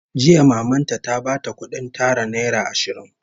Jiya maman ta ta bata kudin tara naira ashirin